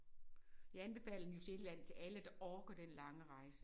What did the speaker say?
Jeg anbefaler New Zealand til alle der orker den lange rejse